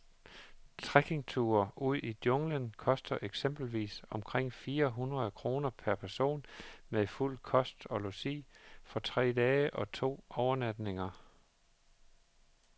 Trekkingture ud i junglen koster eksempelvis omkring fire hundrede kroner per person med fuld kost og logi for tre dage og to overnatninger.